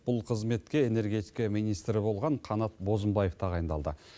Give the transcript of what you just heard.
бұл қызметке энергетика министрі болған қанат бозымбаев тағайындалды